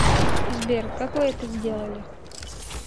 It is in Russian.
сбер как вы это сделали